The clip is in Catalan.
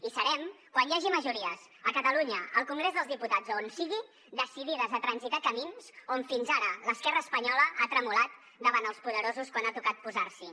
hi serem quan hi hagi majories a catalunya al congrés dels diputats o a on sigui decidides a transitar camins on fins ara l’esquerra espanyola ha tremolat davant els poderosos quan ha tocat posar s’hi